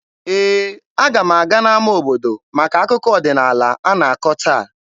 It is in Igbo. Ee, aga m aga n'ama obodo maka akụkọ ọdịnaala a na-akọ taa.